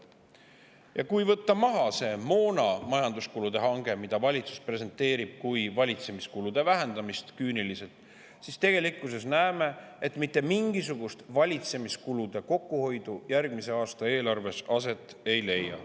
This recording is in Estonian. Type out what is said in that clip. Ja kui võtta see moonahange majanduskuludest maha – valitsus presenteerib seda küüniliselt kui valitsemiskulude vähendamist –, siis tegelikkuses näeme, et mitte mingisugust valitsemiskulude kokkuhoidu järgmise aasta eelarves aset ei leia.